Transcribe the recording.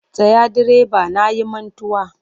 Tsaya direba na yi mantuwa!